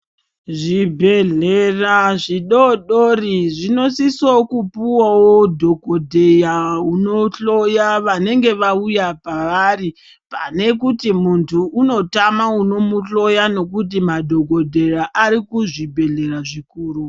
Zvibhedhlera zvidodori zvinosise kupuwawo dhokodheya unohloya vanenge vauya pavari oane kuti muntu unotama unomuhloya nekuti madhokodheya ari kuzvibhedhlera zvikuru.